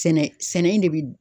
Sɛnɛ sɛnɛ in ne bi